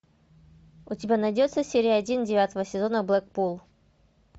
у тебя найдется серия один девятого сезона блэкпул